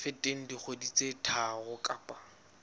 feteng dikgwedi tse tharo kapa